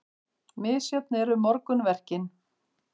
Misjöfn eru morgunverkin.